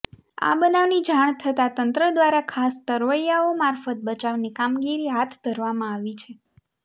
આ બનાવની જાણ થતાં તંત્ર દ્વારા ખાસ તરવૈયાઓ મારફત બચાવની કામગીરી હાથ ધરવામાં આવી છે